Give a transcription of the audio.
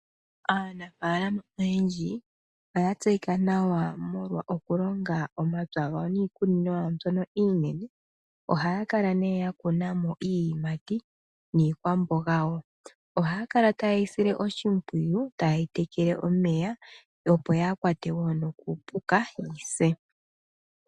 Aanafalama oyendji oya tseyika nawa molwa oku longa omapya gawo niikunino yawo mbyono iinene. Oha kala nee ya kuna mo iiyimati niikwamboga wo. Oha kala taayi sile oshimpwiyu tayi tekele omeya opo yaa kwatwe wo nokuupuka yise.